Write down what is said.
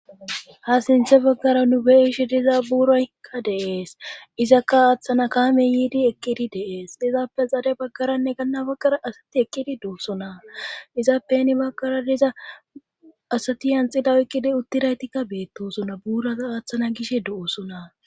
Ha sinthe baggara nu beishi diza buuraykka dees izakka aaththana kaame yiidi eqqidi deees dizaappe xare baggaranne ganna baggara asati eqqidi duosona izappeni baggara diza asati yanxida oyqqidi uttiraytikka beettosona buuraa aaththana gish du7osona